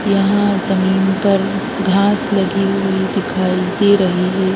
यहाँ जमीन पर घास लगी हुई दिखाई दे रही है।